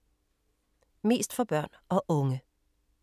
Mest for børn og unge